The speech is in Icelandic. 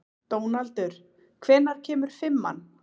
Dónaldur, hvenær kemur fimman?